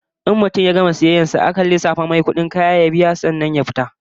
In mutum ya gama sayayyar sa a wajen kofar fita akan lissafa masa kudin kayan sa ya biya sannan ya fita da kayan sa